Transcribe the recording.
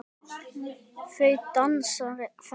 Þau dansa þétt.